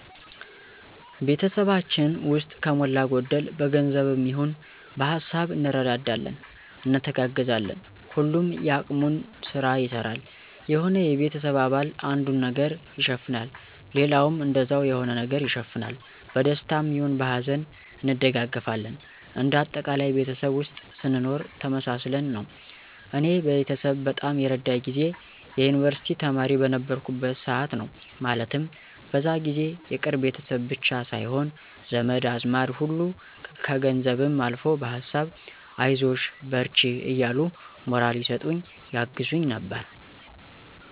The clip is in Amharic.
ቤተሰባችን ውስጥ ከሞላ ጎደል በገንዘብም ይሆን በሀሳብ እንረዳዳለን፣ እንተጋገዛለን። ሁሉም የአቅሙን ስራ ይሰራል። የሆነ የቤተሰብ አባል አንዱን ነገር ይሸፍናል ሌላውም እንደዛው የሆነ ነገር ይሸፍናል። በደስታም ይሁን በሀዘን እንደጋገፋለን እንደ አጠቃላይ ቤተሰብ ውስጥ ስንኖር ተመሳስለን ነው። እኔ ቤተሰብ በጣም የረዳኝ ጊዜ የዩንቨርስቲ ተማሪ በነበርኩበት ሰዓት ነው። ማለትም በዛ ጊዜ የቅርብ ቤተሰብ ብቻ ሳይሆን ዘመድ አዝማድ ሁሉ ከገንዘብም አልፎ በሀሳብ አይዞሽ በርቺ እያሉ ሞራል ይሰጡኝ ያግዙኝ ነበር።